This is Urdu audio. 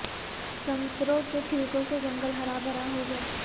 سنگتروں کے چھلکوں سے جنگل ہرا بھرا ہو گیا